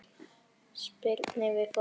Spyrnir við fótum.